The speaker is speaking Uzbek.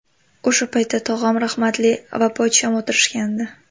O‘sha paytda tog‘am rahmatli va pochcham o‘tirishgandi.